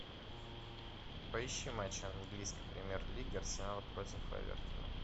поищи матч английской премьер лиги арсенал против эвертона